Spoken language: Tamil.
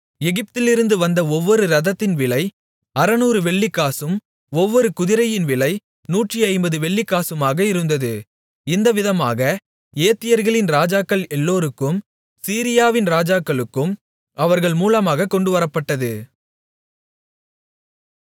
எகிப்திலிருந்து வந்த ஒவ்வொரு இரதத்தின் விலை 600 வெள்ளிக்காசும் ஒவ்வொரு குதிரையின் விலை 150 வெள்ளிக் காசுமாக இருந்தது இந்தவிதமாக ஏத்தியர்களின் ராஜாக்கள் எல்லோருக்கும் சீரியாவின் ராஜாக்களுக்கும் அவர்கள் மூலமாகக் கொண்டுவரப்பட்டது